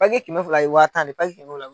Page kɛmɛ fila ye waa tan de ye page kɛmɛ fila